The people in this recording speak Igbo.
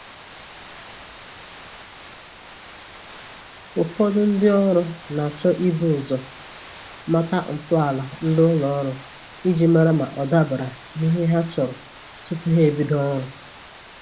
Ụfọdụ ndị ọrụ na-achọ ibu ụzọ mata ntọala ndị ụlọ ọrụ iji mara ma ọ dabara n'ihe ha chọrọ tupu ha ebido ọrụ